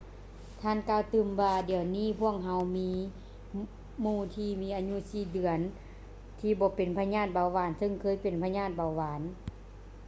ທ່ານກ່າວຕື່ມວ່າ ດຽວນີ້ ພວກເຮົາມີໜູທີ່ມີອາຍຸ 4 ເດືອນທີ່ບໍ່ເປັນພະຍາດເບົາຫວານ ຊຶ່ງເຄີຍເປັນພະຍາດເບົາຫວານ